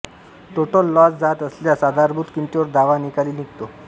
total loss जात असल्यास आधारभूत किमतीवर दावा निकाली निघतो